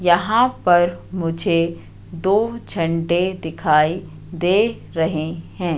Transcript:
यहां पर मुझे दो झंडे दिखाई दे रहे हैं।